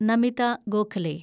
Namitha Gokhale